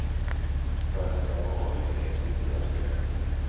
I början av februari greps ytterligare fyra män.